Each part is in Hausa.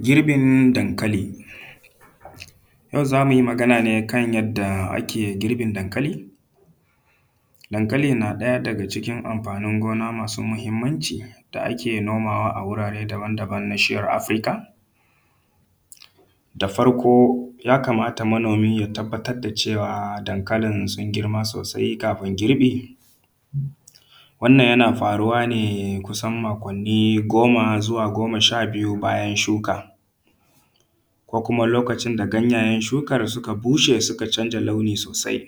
Girbin dankali. Yau za mu yi magana ne a kan yanda ake yin girbin dankali. Dankali na ɗaya daga cikin amfanin gona masu muhimmanci da ake nomawa a wurare daban daban na na shiyyar Afirika. Da farko ya kamata manomi ya tabbatar da cewa dankalin sun girma sosai kafin girbi. Wannan ya na faruwa ne kusan makonni goma zuwa goma sha biyu bayan shuka, ko kuma lokacin da ganyayen shukan suka bushe suka canza launi sosai.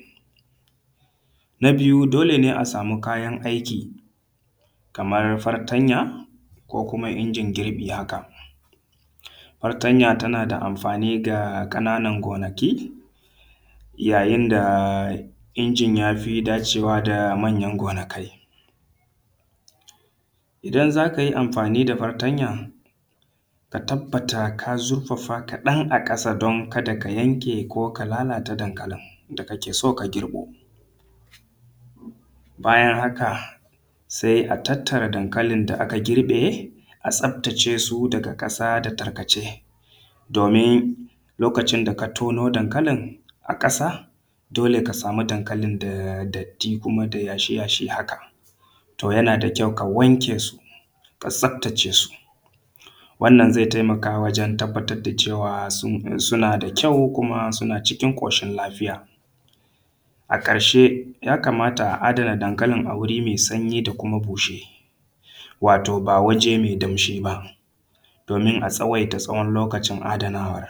Na biyu dole ne a samu kayan aiki kamar fatanya ko kuma injin girbi haka. Fatanya tana da amfani ga ƙananan gonaki yayin da injin yafi dace wa ga manyan gonakai. Idan za ka yi amfani da fatanya ka tabbatar ka zurfafa kaɗan a ƙasa don kada ka yanke ko ka lalata dankalin da ka ke so ka girbo. Bayan haka sai a tattara dankalin da aka girbo a tsaftace su daga ƙasa da tarkace domin lokacin da ka tono a ƙasa dole ka samu dankalin da datti ko kuma yashi yashi. Haka to yana da kyau ka wanke su ka tsaftace su wannan zai taimaka wajen tabbatar da cewa suna da kyau ko kuma suna cikin ƙoshin lafiya. A ƙarshen ya kamata a adana dankalin a wari mai sanyi da kuma bushe wato ba waje mai danshi ba domin a tsawaita tsawon lokacin adanawan.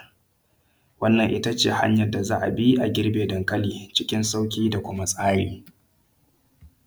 Wannan itace hanyar da za a bi a girbe dankali cikin tsari da sauƙi.